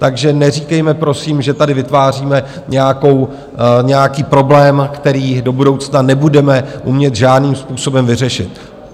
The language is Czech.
Takže neříkejme prosím, že tady vytváříme nějaký problém, který do budoucna nebudeme umět žádným způsobem vyřešit.